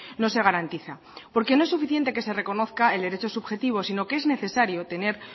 no se garantiza porque no es suficiente que se reconozca el derecho subjetivo sino que es necesario tener